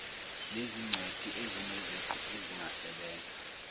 lezingcweti ezineziqu ezingasebenza